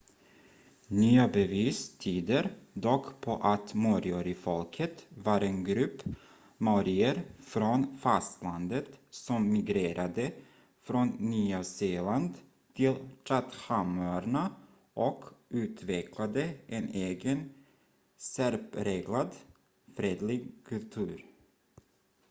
nya bevis tyder dock på att moriorifolket var en grupp maorier från fastlandet som migrerade från nya zeeland till chathamöarna och utvecklade en egen särpräglad fredlig kultur